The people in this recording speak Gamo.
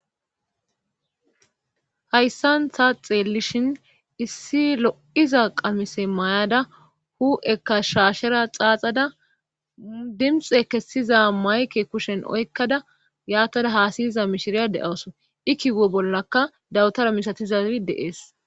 hayssan taa xeellishin issi lo'iza qamise mayada hu'ekka shaashera xaaxada dimxe kessiza mayke kushen oykkada yaatada haasayiza mishiriya de'awso i kiwo bollaka dawutara misatizazi dee'es